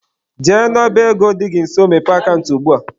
Jee n'ọba ego dị gị nso mepee akant ugbua!.